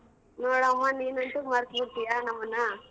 ನೋಡಮ್ಮ ನೀನಂತೂ ಮರ್ತ್ಬಿಡ್ತಿಯ ನಮ್ಮನ್ನ.